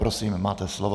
Prosím, máte slovo.